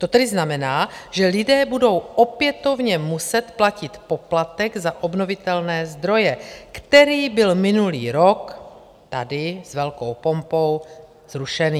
To tedy znamená, že lidé budou opětovně muset platit poplatek za obnovitelné zdroje, který byl minulý rok tady s velkou pompou zrušený.